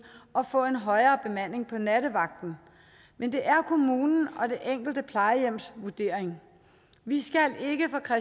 og få en højere bemanding på nattevagten men det er kommunen og det enkelte plejehjems vurdering vi